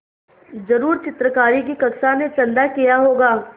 ज़रूर चित्रकारी की कक्षा ने चंदा किया होगा